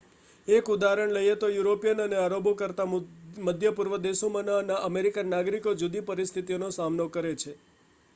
એક ઉદાહરણ લઈએ તો યુરિપિયનો અને આરબો કરતાં મધ્ય પૂર્વના દેશોમાંના અમેરિકન નાગરિકો જુદી પરિસ્થિતિઓનો સામનો કરે છે